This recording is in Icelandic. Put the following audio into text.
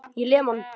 Ég lem hann.